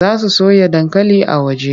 Za su soya dankali a waje.